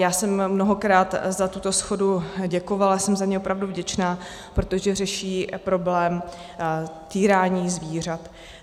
Já jsem mnohokrát za tuto shodu děkovala, jsem za ni opravdu vděčná, protože řeší problém týrání zvířat.